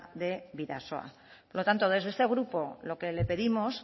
de bidasoa por lo tanto desde este grupo lo que le pedimos